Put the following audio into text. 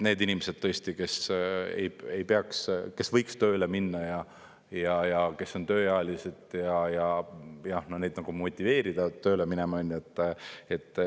Need inimesed, tõesti, kes võiks tööle minna ja kes on tööealised, neid motiveerida tööle minema.